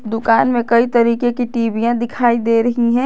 दुकान में कई तरीके की टीवीया दिखाई दे रही हैं।